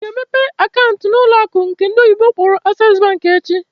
Ị ga emepe akaant n'ụlọ akụ nke ndị oyibo na akpọ "Access Bank" echi!